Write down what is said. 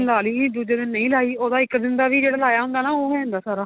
ਲਾ ਲਈ ਦੂਜੇ ਦਿਨ ਨਹੀਂ ਲਾਈ ਉਹਦਾ ਇੱਕ ਦਿਨ ਦਾ ਵੀ ਜਿਹੜਾ ਲਾਇਆ ਹੁੰਦਾ ਨਾ ਉਹ ਹੁੰਦਾ ਸਾਰਾ